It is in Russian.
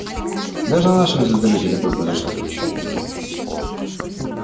даже на нашем звездолёте такое произошло случайно